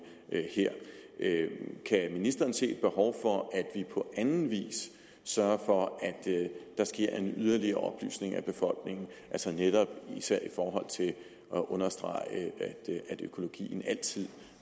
her kan ministeren se et behov for at vi på anden vis sørger for at der sker en yderligere oplysning af befolkningen altså især i forhold til at understrege at økologien altid